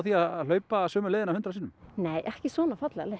á að hlaupa sömu leiðina hundrað sinnum nei ekki svona fallega leið